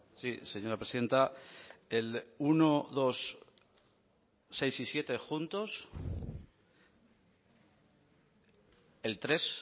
sí señora presidenta el uno dos seis y siete juntos el tres